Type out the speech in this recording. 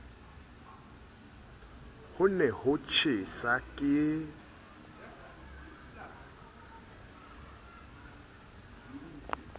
ho ne ho tjhesa ke